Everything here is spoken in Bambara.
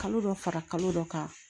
Kalo dɔ fara kalo dɔ kan